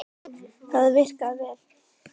Það virkaði vel.